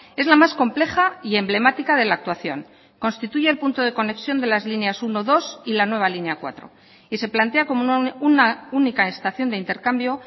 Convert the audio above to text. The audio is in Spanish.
es la más compleja y emblemática de la actuación constituye el punto de conexión de las líneas uno dos y la nueva línea cuatro y se plantea como una única estación de intercambio